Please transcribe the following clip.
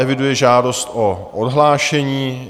Eviduji žádost o odhlášení.